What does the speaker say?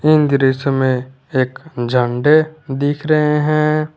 इन दृश्य में एक झंडे दिख रहे हैं।